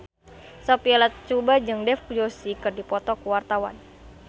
Sophia Latjuba jeung Dev Joshi keur dipoto ku wartawan